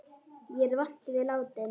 Ég er vant við látinn.